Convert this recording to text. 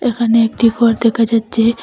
এখানে একটি ঘর দেকা যাচ্চে।